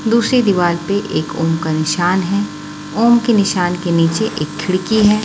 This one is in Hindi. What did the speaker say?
दूसरी दीवार पे एक ओम का निशान है ओम के निशान के नीचे एक खिड़की है।